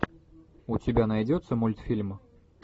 у тебя найдется мультфильм